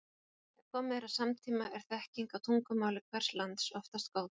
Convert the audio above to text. Þegar komið er að samtíma er þekking á tungumáli hvers lands oftast góð.